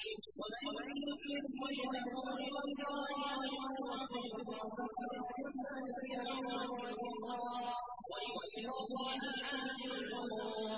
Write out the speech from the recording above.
۞ وَمَن يُسْلِمْ وَجْهَهُ إِلَى اللَّهِ وَهُوَ مُحْسِنٌ فَقَدِ اسْتَمْسَكَ بِالْعُرْوَةِ الْوُثْقَىٰ ۗ وَإِلَى اللَّهِ عَاقِبَةُ الْأُمُورِ